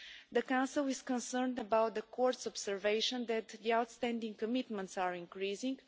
The Council is concerned about the Court's observation that the outstanding commitments are increasing.